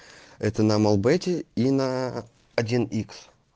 это на мелбете и на один икс